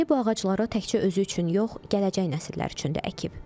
Əli bu ağaclara təkcə özü üçün yox, gələcək nəsillər üçün də əkib.